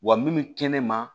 Wa min bɛ kɛnɛma